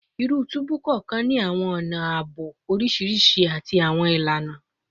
Iru tubu kọọkan ni awọn ọna aabo oriṣiriṣi ati awọn ilana